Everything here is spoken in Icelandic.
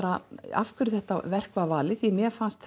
af hverju þetta verk var valið því mér fannst